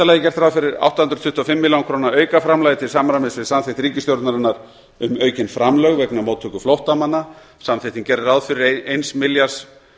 lagi er gert ráð fyrir átta hundruð tuttugu og fimm milljónir króna aukaframlagi til samræmis við samþykkt ríkisstjórnarinnar um aukin framlög vegna móttöku flóttamanna samþykktin gerði ráð fyrir eins milljarðs